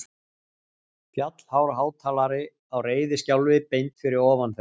Fjallhár hátalari á reiðiskjálfi beint fyrir ofan þau.